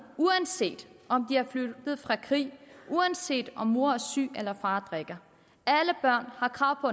uanset om de er flygtet fra krig uanset om mor er syg eller far drikker alle børn har krav på